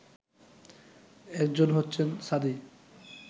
একজন হচ্ছেন সাদি